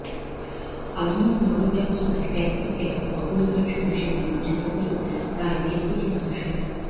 আধুনিক নগরব্যবস্থায় ট্যাক্সিক্যাব অপরিহার্য হিসেবে বিবেচিত হলেও প্রায় দেড় কোটি মানুষের